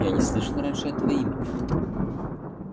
я не слышал раньше этого имени